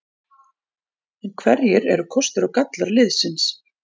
En hverjir eru kostir og gallar liðsins?